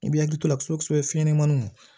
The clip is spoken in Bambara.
I b'i hakili to a la kosɛbɛ fiɲɛnmaninw